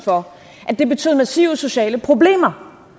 for at det betød massive sociale problemer